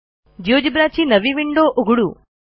GeoGebra ची नवी window उघडू